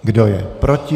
Kdo je proti?